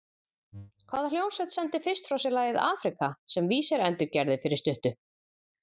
Hvaða hljómsveit sendi fyrst frá sér lagið Africa sem weezer endurgerði fyrir stuttu?